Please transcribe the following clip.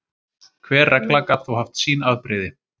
Hver regla gat þó haft sín afbrigði.